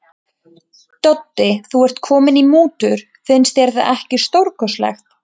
Doddi, þú ert kominn í mútur, finnst þér það ekki stórkostlegt.